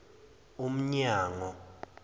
umnyango